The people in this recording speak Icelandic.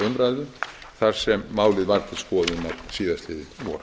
umræðu þar sem málið var til skoðunar síðastliðið vor